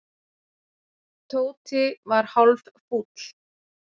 Tóti var hálffúll.